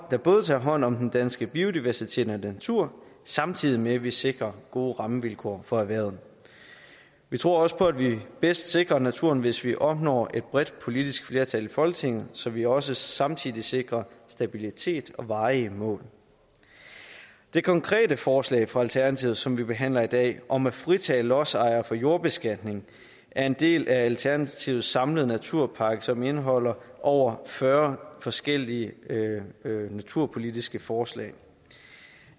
der både tager hånd om den danske biodiversitet og natur samtidig med at vi sikrer gode rammevilkår for erhvervet vi tror også på at vi bedst sikrer naturen hvis vi opnår et bredt politisk flertal i folketinget så vi også samtidig sikrer stabilitet og varige mål det konkrete forslag fra alternativet som vi behandler i dag om at fritage lodsejere for jordbeskatning er en del af alternativets samlede naturpakke som indeholder over fyrre forskellige naturpolitiske forslag